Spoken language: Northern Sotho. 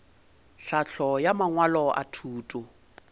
tlhahlo ya mangwalo a thuto